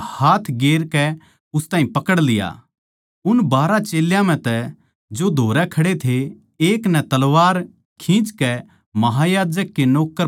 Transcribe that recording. उन बारहा चेल्यां म्ह जो धोरै खड़े थे एक नै तलवार खिंचकै महायाजक के नौक्कर पै चलाई अर उसका कान उड़ा दिया